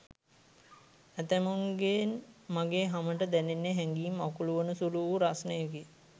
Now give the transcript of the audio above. ඇතැමුන්ගෙන් මගේ හමට දැනෙන්නේ හැගීම් අකුළුවන සුළු වූ රස්නයකි.